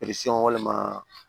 walima